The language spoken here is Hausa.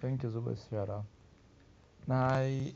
Kan kin zuba shara, na yi